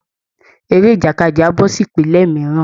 Eré ìjàkadì á bọ́ sí ìpele mìíràn